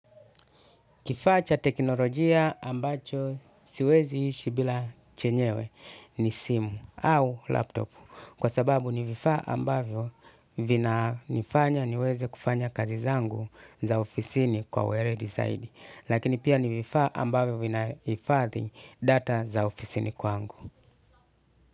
Kifaa cha teknolojia ambacho siwezi ishi bila chenyewe ni simu au laptop, kwa sababu ni vifaa ambavyo vinanifanya niweze kufanya kazi zangu za ofisini kwa weledi zaidi lakini pia ni vifaa ambavyo vinahifadhi data za ofisini kwangu.